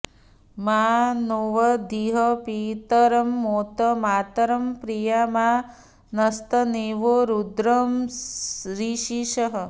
मा नो॑ऽवधीः पि॒तरं॒ मोत मा॒तरं॑ प्रि॒या मा न॑स्त॒नुवो॑ रुद्र रीरिषः